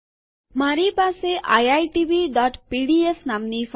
મારી પાસે આઈઆઈટીબીપીડીફ iitbપીડીએફ નામની ફાઈલ છે